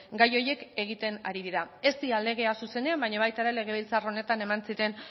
gai horiek egiten ari dira ez dira legeak zuzenean baina baita ere legebiltzar honetan eman ziren